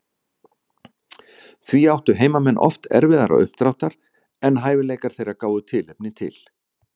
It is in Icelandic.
Því áttu heimamenn oft erfiðara uppdráttar en hæfileikar þeirra gáfu tilefni til.